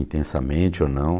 Intensamente ou não.